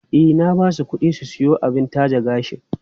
E, na ba su kuɗi su siyo abin taje gashi.